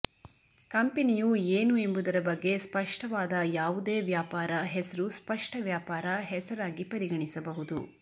ಕಂಪೆನಿಯು ಏನು ಎಂಬುದರ ಬಗ್ಗೆ ಸ್ಪಷ್ಟವಾದ ಯಾವುದೇ ವ್ಯಾಪಾರ ಹೆಸರು ಸ್ಪಷ್ಟ ವ್ಯಾಪಾರ ಹೆಸರಾಗಿ ಪರಿಗಣಿಸಬಹುದು